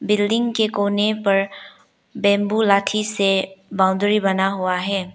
Building के कोने पर बंबू लाठी से बाउंड्री बना हुआ है।